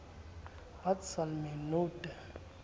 wat sal my nou te